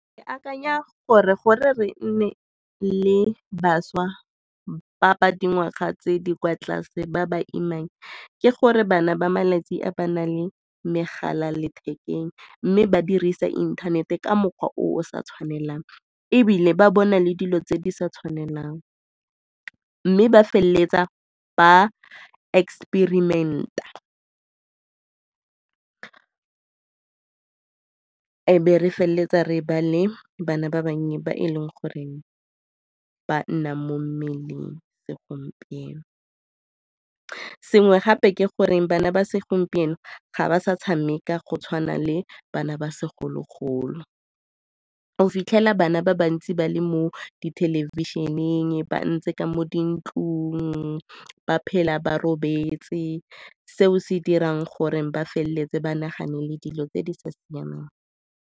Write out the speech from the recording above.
Ke akanya gore gore re nne le bašwa ba ba dingwaga tse di kwa tlase ba ba imang ke gore bana ba malatsi a ba na le megala lethekeng mme ba dirisa inthanete ka mokgwa o sa tshwanelang ebile ba bona le dilo tse di sa tshwanelang. Mme ba feleletsa ba experiment-a e be re feleletsa re ba le bana ba bannye ba e leng gore ba nna mo mmeleng segompieno. Sengwe gape ke gore bana ba segompieno ga ba sa tshameka go tshwana le bana ba segologolo, o fitlhela bana ba bantsi ba le mo dithelebišeneng, ba ntse ka mo dintlong, ba phela ba robetse. Seo se dirang gore ba feleletse ba nagane le dilo tse di sa siamang.